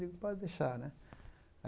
Eu digo, pode deixar, né?